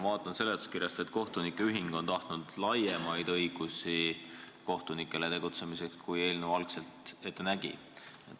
Ma loen seletuskirjast, et kohtunike ühing on tahtnud kohtunikele tegutsemiseks laiemaid õigusi, kui eelnõu algselt ette nägi.